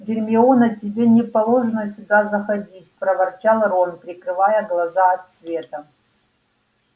гермиона тебе не положено сюда заходить проворчал рон прикрывая глаза от света